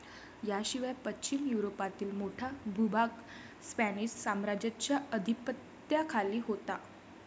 याशिवाय पश्चिम युरोपातील मोठा भूभाग स्पॅनिश साम्राज्याच्या अधिपत्याखाली होता